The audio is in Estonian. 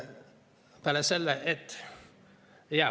Peale selle, et ...